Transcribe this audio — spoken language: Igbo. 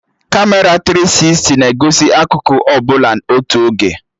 Kamera tiri sisti na-egosi akụkụ ọbụla otu oge